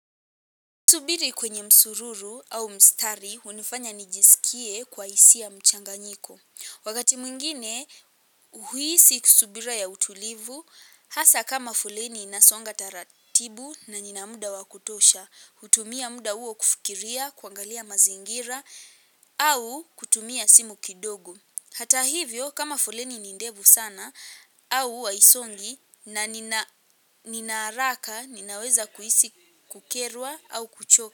Kusubiri kwenye msururu au mstari, hunifanya nijisikie kwa isia mchanganyiko. Wakati mwingine, huhisi kusubira ya utulivu, hasa kama foleni inasonga taratibu na nina muda wa kutosha, hutumia muda uo kufikiria, kuangalia mazingira, au kutumia simu kidogo. Hata hivyo kama foleni ni ndevu sana au haisongi na nina nina haraka ninaweza kuhisi kukerwa au kuchoka.